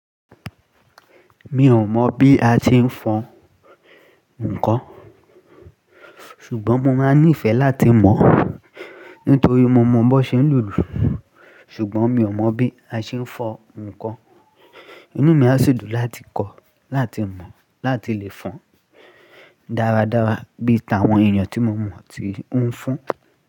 Mi ò mọ̀ bí a ti ń fọn ǹkan, ṣùgbọ́n mo máa ní ìfẹ́ láti mọ̀ nítorí mo mọ bó ṣe ń lùlù. Ṣùgbọ́n mi ò mọ̀ bí a ṣe ń fọn ǹkan. Inú mi a sì dùn láti kọ́, láti mọ̀, láti lè fọn dáradára bí i t'àwọn èèyàn tí mo mọ̀ ti ń fọn.